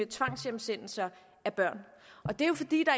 tvangshjemsendelser af børn og det er jo fordi der